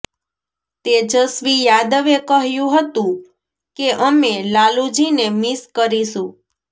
તેજસ્વી યાદવે કહ્યું હતું કે અમે લાલુજીને મિસ કરીશું